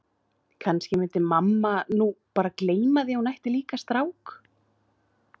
Kannski myndi mamma nú bara gleyma því að hún ætti líka strák.